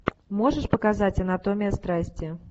можешь показать анатомия страсти